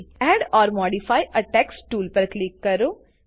add or modify a text tool પર click કરો